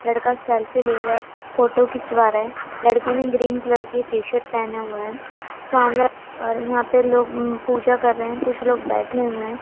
लड़का सेल्फ़ी ले रहा है फोटो खिंचवा रहा है लड़की ने ग्रीन कलर की टी शर्ट पहने हुए हैं और यहां पे ये लोग पूजा कर रहे हैं कुछ लोग बैठे हुए हैं।